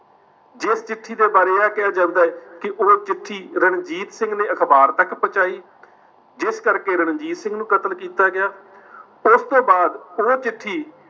ਜਿਸ ਚਿੱਠੀ ਦੇ ਬਾਰੇ ਇਹ ਕਿਹਾ ਜਾਂਦਾ ਹੈ ਕਿ ਉਹ ਚਿੱਠੀ ਰਣਜੀਤ ਸਿੰਘ ਨੇ ਅਖਬਾਰ ਤੱਕ ਪਹੁੰਚਾਈ, ਜਿਸ ਕਰਕੇ ਰਣਜੀਤ ਸਿੰਘ ਨੂੰ ਕਤਲ ਕੀਤਾ ਗਿਆ। ਉਸ ਤੋਂ ਬਾਅਦ ਉਹ ਚਿੱਠੀ